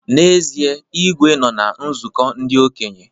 N'ezie, Igwe nọ na nzụkọ ndị okenye